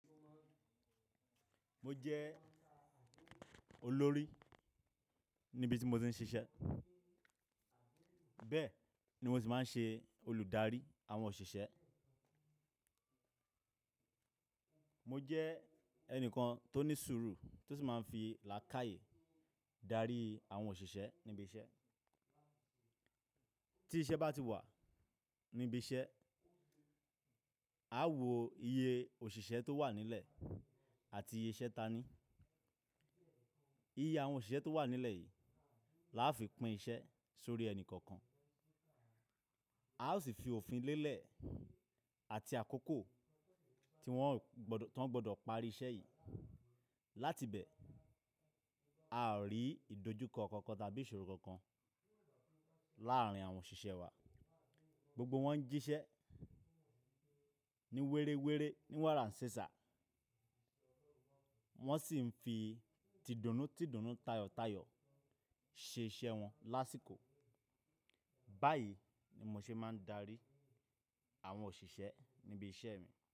Mo jẹ́ olórí níbi tí mo ti ń ṣiṣẹ́. Bẹ́ẹ̀ ni mo sì máa ń ṣe olùdarí àwọn òṣìṣẹ́. Mo jẹ́ ẹnìkan tó ní sùúrù tó sì máa ń fi làákàyi darí àwọn òṣìṣẹ́ níbi iṣẹ́. Tí iṣẹ́ bá ti wà níbi iṣẹ́, a ó wo iye òṣìṣẹ́ tó wà nílẹ̀ àti iye iṣẹ́ tani. Iye àwọn òṣìṣẹ́ tó wà nílẹ̀ yìí la á fi pín iṣẹ́ sórí ẹni kọ̀ọ̀kan. A ó sì fi òfin lélẹ̀ àti àkókò tí wọ́n gbọ́dọ̀ parí iṣẹ́ yìí. Láti bẹ́ẹ̀, a ò rí ìdojúkọ kankan tàbí ìṣòro kankan làárín àwọn òṣìṣẹ́ wa. Gbogbo wọn ń jíṣẹ́ ní wéré wéré, ní wàrà ṣesà. Wọ́n sì ń fi tìdùnú tìdùnú, tayọ̀tayọ̀ ṣe iṣẹ́ wọn lásìkò. Báyìí ni mo ṣe máa ń darí àwọn òṣìṣẹ́ níbi iṣẹ́ mi.